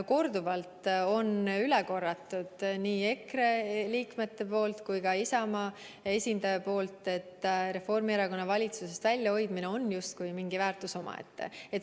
Korduvalt on üle korranud nii EKRE liikmed kui ka Isamaa esindaja, et Reformierakonna valitsusest väljas hoidmine on justkui mingi väärtus omaette.